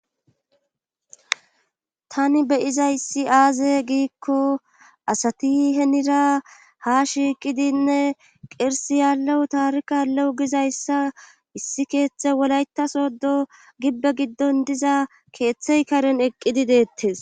tani beyizayssi aaze giikko asati henira ha shiiqidinne qirsiyalew taarik alewu gizayssa issi keeththe wolaytasodo gibbe giddon diza keeththey karen eqqidi deettes